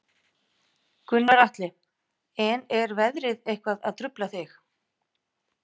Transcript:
Gunnar Atli: En er veðrið eitthvað að trufla þig?